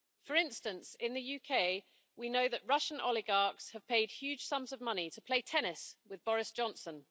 For instance, in the UK, we know that Russian oligarchs have paid huge sums of money to play tennis with Boris Johnson.